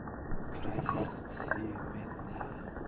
прости меня